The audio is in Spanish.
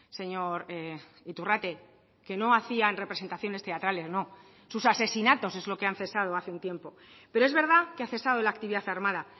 señor iturrate que no hacían representaciones teatrales no sus asesinatos es lo que han cesado hace un tiempo pero es verdad que ha cesado la actividad armada